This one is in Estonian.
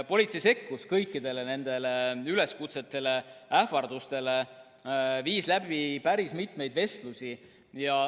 Politsei sekkus kõikide nende üleskutsete ja ähvarduste peale ja viis läbi päris mitmeid vestlusi.